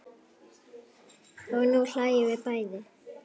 Og nú hlæjum við bæði.